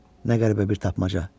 Nə qəribə bir tapmaca.